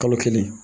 Kalo kelen